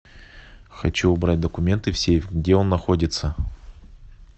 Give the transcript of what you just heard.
хочу убрать документы в сейф где он находится